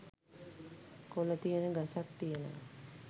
කොළ තියෙන ගසක් තියෙනවා.